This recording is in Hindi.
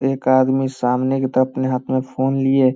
एक आदमी सामने की तरफ अपने हाथ में फ़ोन लिए --